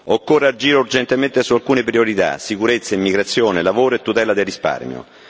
Occorre agire urgentemente su alcune priorità sicurezza, immigrazione, lavoro e tutela del risparmio.